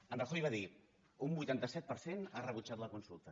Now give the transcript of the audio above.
en rajoy va dir un vuitanta set per cent ha rebutjat la consulta